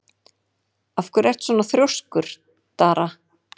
Af hverju ertu svona þrjóskur, Dara?